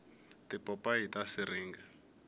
tipopayi ta siringa